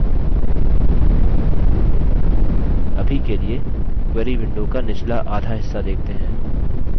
अभी के लिए query window का निचला आधा हिस्सा देखते हैं